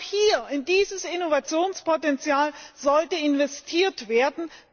Genau hier, in dieses Innovationspotenzial, sollte investiert werden.